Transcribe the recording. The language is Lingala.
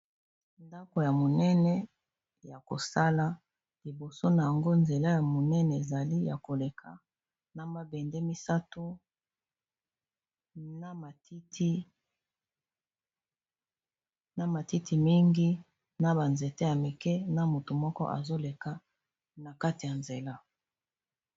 ndako ya monene ya kosala liboso na yango nzela ya monene ezali ya koleka na mabende misato na matiti mingi na banzete ya mike na moto moko azoleka na kati ya nzela